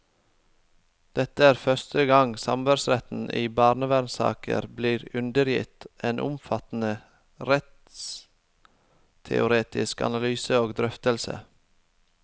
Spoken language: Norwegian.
Dette er første gang samværsretten i barnevernssaker blir undergitt en omfattende rettsteoretisk analyse og drøftelse.